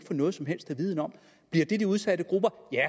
noget som helst at vide om bliver det de udsatte grupper ja